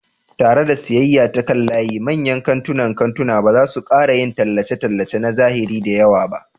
Tare da siyayya ta kan layi, manyan kantunan kantuna ba za su ƙara yin tallace-tallace na zahiri da yawa ba.